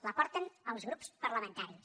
la porten els grups parlamentaris